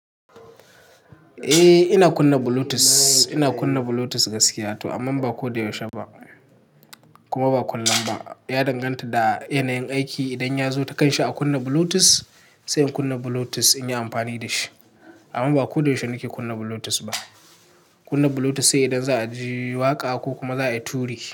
Eh ina kunna Bluetooth, ina kunna Bluetooth gaskiya to amma ba ko da yaushe ba kuma ba kullum ba. Ya danganta da yanayin aiki. Idan ya zo takan shi a kunna Bluetooth sai in kunna Bluetooth in yi amfani da shi amma ba ko da yaushe nake kunna Bluetooth ba. Kunna Bluetooth sai idan za a ji waƙa ko kuma za a yi turi.